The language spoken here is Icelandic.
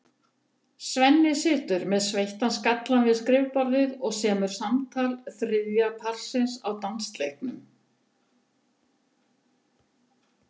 Svenni situr með sveittan skallann við skrifborðið og semur samtal þriðja parsins á dansleiknum.